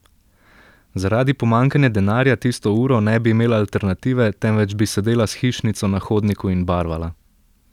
Zaradi pomanjkanja denarja tisto uro ne bi imela alternative, temveč bi sedela s hišnico na hodniku in barvala.